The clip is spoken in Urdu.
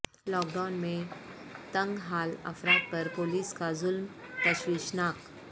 لاک ڈائون میں تنگ حال افراد پر پولیس کا ظلم تشویشناک